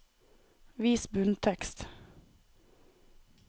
Vis bunntekst